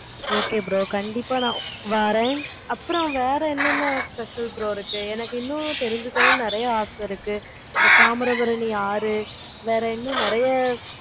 okay bro கண்டிப்பா நான் வரேன். வேற என்ன special product